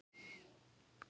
hárra sala.